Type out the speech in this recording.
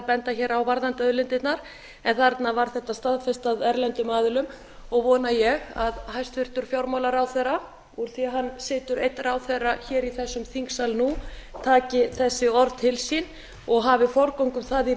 að benda á vrðandi auðlindirnar en þarna var þetta staðfest af erlendum aðilum og vona ég að hæstvirtur fjármálaráðherra úr því að hann situr einn ráðherra í þessum þingsal nú taki þessi orð til sín og hafi forgöngu um það í